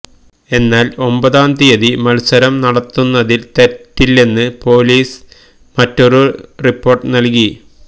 എന്നാല് ഒമ്പതാം തിയ്യതി മല്സരം നടത്തുന്നതില് തെറ്റില്ലെന്ന് പോലിസ് മറ്റൊരു റിപ്പോര്ട്ട് നല്കി